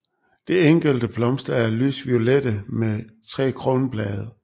De enkelte blomster er lysviolette med tre kronblade